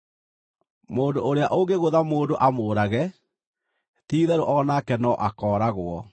“Mũndũ ũrĩa ũngĩgũtha mũndũ amũũrage, ti-itherũ o nake no akooragwo.